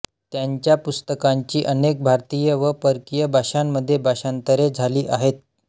त्यांच्या पुस्तकांची अनेक भारतीय व परकीय भाषांमध्ये भाषांतरे झाली आहेत